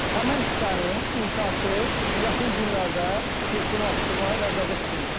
Həmin hissənin inşası yaxın günlərdə yekunlaşdırmağı nəzərdə tutulmuşdu.